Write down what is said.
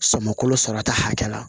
Sɔmi kolo sɔrɔ ta hakɛ la